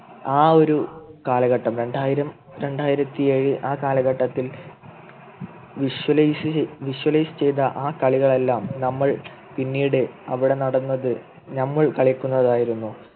ആ ഒരു കാലഘട്ടം രണ്ടായിരം രണ്ടായിരത്തി ഏഴു ആ കാലഘട്ടത്തിൽ Visualize Visualize ചെയ്ത ആ കളികൾ എല്ലാം നമ്മൾ പിന്നീട് അവിടെ നടന്നത് നമ്മൾ കളിക്കുന്നത് ആയിരുന്നു